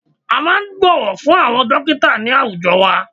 A máà ń bọ̀wọ̀ fún àwọn dọ́kítà ní àwùjọ wa.